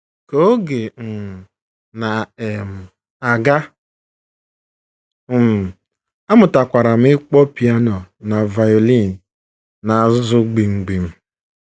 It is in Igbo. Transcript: Ka oge um na um - aga, um amụtakwara m ịkpọ piano na violin na - azụ gbim gbim.